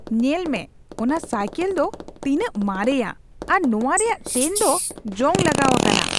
ᱧᱮᱞ ᱢᱮ, ᱚᱱᱟ ᱥᱟᱭᱠᱮᱞ ᱫᱚ ᱛᱤᱱᱟᱹᱜ ᱢᱟᱨᱮᱭᱟ ᱟᱨ ᱱᱚᱶᱟ ᱨᱮᱭᱟᱜ ᱪᱮᱱ ᱫᱚ ᱡᱚᱝ ᱞᱟᱜᱟᱣ ᱟᱠᱟᱱᱟ ᱾